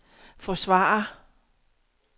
forsvarer